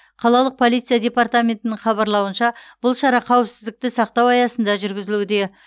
қалалық полиция департаментінің хабарлауынша бұл шара қауіпсіздікті сақтау аясында жүргізілуде